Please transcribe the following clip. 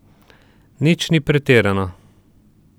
Nič ni pretirano.